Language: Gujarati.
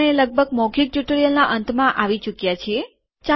આપણે લગભગ મૌખીક ટ્યુટોરીયલનાં અંતમાં આવી ચુક્યા છીએ